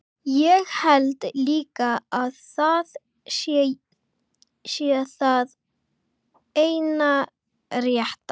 Ég held líka að það sé það eina rétta.